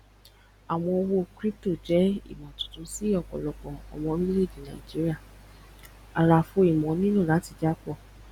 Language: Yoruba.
àwọn owó crypto jẹ tuntun si ọpọlọpọ àwọn ọmọ orílẹèdè nàìjíría àlàfo ìmọ nílò láti jápọ